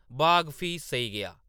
बाघ फ्ही सेई गेआ ।